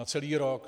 Na celý rok.